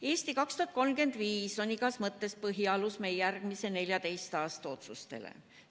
"Eesti 2035" on igas mõttes põhialus meie järgmise 14 aasta otsustele.